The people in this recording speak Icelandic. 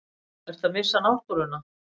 Ertu að missa náttúruna?